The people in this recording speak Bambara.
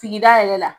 Sigida yɛrɛ la